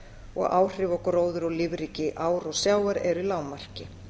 og áhrif á gróður og lífríki ár og sjávar eru í lágmarki